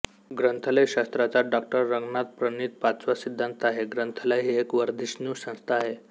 ग्रंथालयशास्त्राचा Dr रंगनाथनप्रणीत पाचवा सिद्धांत आहे ग्रंथालय ही एक वर्धिष्णू संस्था आहे